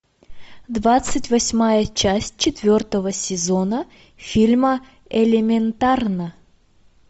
двадцать восьмая часть четвертого сезона фильма элементарно